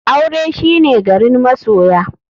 Aure shine garin masoya.